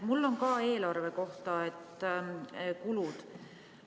Mul on ka eelarve kohta – kulud.